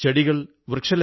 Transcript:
വണക്കം വണക്കം